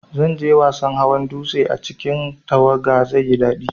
Zanje wasan hawan dutse a cikin tawaga, zaiyi dadi